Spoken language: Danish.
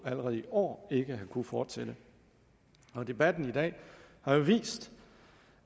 allerede i år ikke have kunnet fortsætte debatten i dag har jo vist